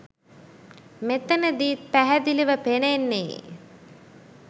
මෙතනදීත් පැහැදිලිව පෙනෙන්නේ